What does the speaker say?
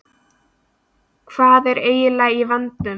Hvað er eiginlega í vændum?